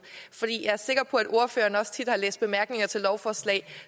jeg er sikker på at ordføreren tit har læst bemærkninger til lovforslag